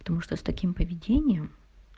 потому что с таким поведением